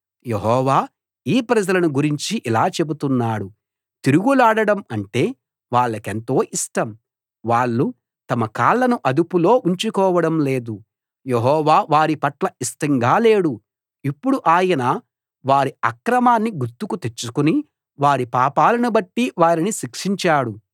యెహోవా ఈ ప్రజలను గురించి ఇలా చెబుతున్నాడు తిరుగులాడడం అంటే వాళ్ళకెంతో ఇష్టం వాళ్ళు తమ కాళ్లను అదుపులో ఉంచుకోవడం లేదు యెహోవా వారిపట్ల ఇష్టంగా లేడు ఇప్పుడు ఆయన వారి అక్రమాన్ని గుర్తుకు తెచ్చుకుని వారి పాపాలను బట్టి వారిని శిక్షించాడు